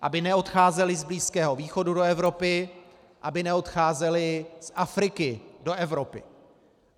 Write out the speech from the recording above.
Aby neodcházeli z Blízkého východu do Evropy, aby neodcházeli z Afriky do Evropy.